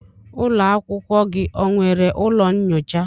Ụlọ akwụkwọ gị o nwere ụlọ nnyocha?